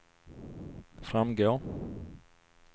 framgår